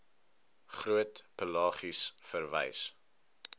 groot pelagies verwys